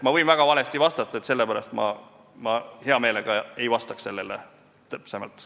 Ma võin väga valesti vastata, sellepärast ma hea meelega ei vastaks sellele täpsemalt.